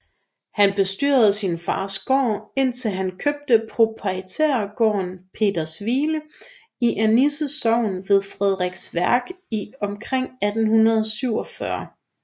Han bestyrede sin fars gård indtil han købte proprietærgården Petershvile i Annisse Sogn ved Frederiksværk omkring 1847